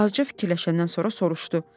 Azca fikirləşəndən sonra soruşdu: